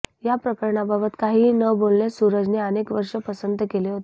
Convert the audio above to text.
या प्रकरणाबाबत काहीही न बोलणेच सुरजने अनेक वर्षं पसंत केले होते